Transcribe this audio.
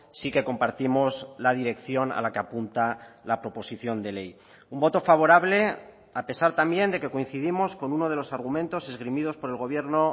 sí que compartimos la dirección a la que apunta la proposición de ley un voto favorable a pesar también de que coincidimos con uno de los argumentos esgrimidos por el gobierno